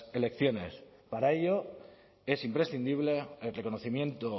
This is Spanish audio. elecciones para ello es imprescindible el reconocimiento